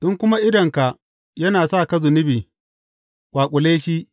In kuma idonka yana sa ka zunubi, ƙwaƙule shi.